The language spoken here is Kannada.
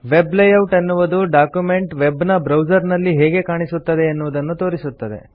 ವೆಬ್ ಲೇಯೌಟ್ ಎನ್ನುವುದು ಡಾಕ್ಯುಮೆಂಟ್ ವೆಬ್ ನ ಬ್ರೌಸರ್ ನಲ್ಲಿ ಹೇಗೆ ಕಾಣಿಸುತ್ತದೆ ಎನ್ನುವುದನ್ನು ತೋರಿಸುತ್ತದೆ